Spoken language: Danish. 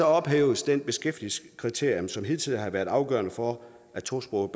ophæves det beskæftigelseskriterium som hidtil har været afgørende for at tosprogede